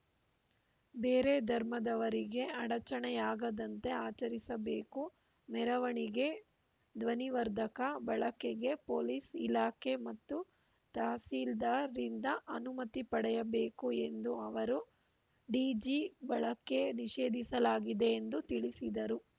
ಬೇರೆ ಧರ್ಮದವರಿಗೆ ಅಡಚಣೆಯಾಗದಂತೆ ಆಚರಿಸಬೇಕು ಮೆರವಣಿಗೆ ಧ್ವನಿವರ್ಧಕ ಬಳಕೆಗೆ ಪೊಲೀಸ್‌ ಇಲಾಖೆ ಮತ್ತು ತಹಸೀಲ್ದಾರ್‌ರಿಂದ ಅನುಮತಿ ಪಡೆಯಬೇಕು ಎಂದ ಅವರು ಡಿಜಿ ಬಳಕೆ ನಿಷೇಧಿಸಲಾಗಿದೆ ಎಂದು ತಿಳಿಸಿದರು